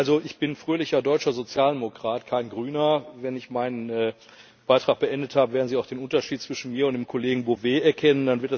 Also ich bin fröhlicher deutscher Sozialdemokrat, kein Grüner. Wenn ich meinen Beitrag beendet habe, werden Sie auch den Unterschied zwischen mir und dem Kollegen Bové erkennen.